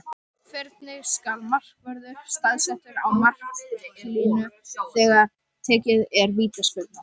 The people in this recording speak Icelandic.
Hvernig skal markvörður staðsettur á marklínu þegar tekin er vítaspyrna?